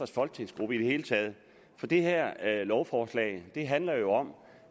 folketingsgruppe i det hele taget for det her lovforslag handler jo om